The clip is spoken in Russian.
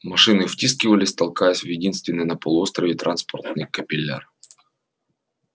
машины втискивались толкаясь в единственный на полуострове транспортный капилляр